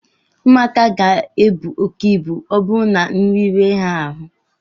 ụmụaka ga-ebu oke ibu ma ọ bụrụ na nri rie ha ahụ